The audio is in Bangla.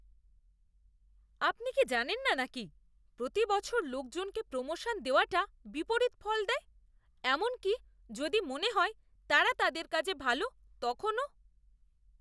আপনি কি জানেন না নাকি প্রতি বছর লোকজনকে প্রোমোশন দেওয়াটা বিপরীত ফল দেয়, এমনকি যদি মনে হয় তারা তাদের কাজে ভাল, তখনও!